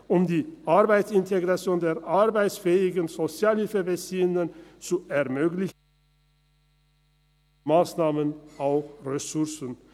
Um die Arbeitsintegration der arbeitsfähigen Sozialhilfebeziehenden zu ermöglichen, braucht es neben Massnahmen auch Ressourcen.